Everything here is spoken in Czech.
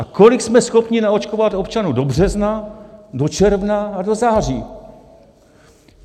A kolik jsme schopni naočkovat občanů do března, do června a do září?